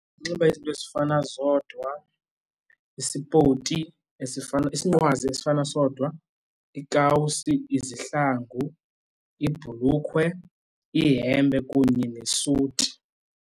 Unxiba izinto ezifana zodwa, isipoti, isinqwazi esifana sodwa, iikawusi izihlangu, ibhulukhwe, ihempe kunye nesuti.